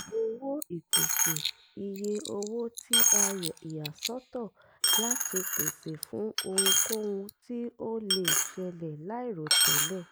owó ìpèsè: iyé owó tí a ìyàsọ́tọ̀ láti pèsè fún ohunkóhun tí ó lè ṣẹlẹ̀ láìròtẹ́lẹ̀.